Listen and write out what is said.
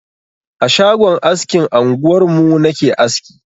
A shagon askin anguwarmu na ke aski.